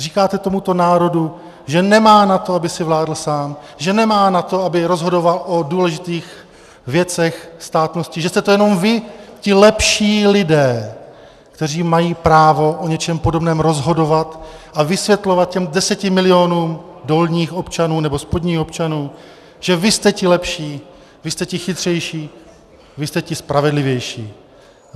Říkáte tomuto národu, že nemá na to, aby si vládl sám, že nemá na to, aby rozhodoval o důležitých věcech státnosti, že jste to jenom vy, ti lepší lidé, kteří mají právo o něčem podobném rozhodovat a vysvětlovat těm deseti milionům dolních občanů, nebo spodních občanů, že vy jste ti lepší, vy jste ti chytřejší, vy jste ti spravedlivější.